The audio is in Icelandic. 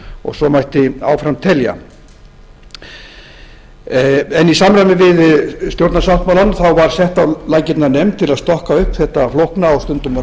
og svo mætti fram telja í samræmi við stjórnarsáttmálann var sett á laggirnar nefnd til að stokka upp þetta flókna og stundum